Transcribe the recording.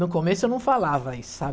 No começo eu não falava isso, sabe?